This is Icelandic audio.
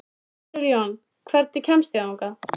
Edilon, hvernig kemst ég þangað?